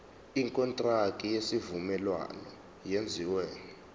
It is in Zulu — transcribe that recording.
ikontraki yesivumelwano eyenziwe